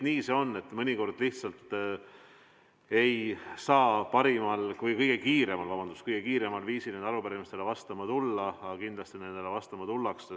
Nii see on, et mõnikord lihtsalt ei saa kõige kiiremal viisil arupärimistele vastama tulla, aga kindlasti nendele vastama tullakse.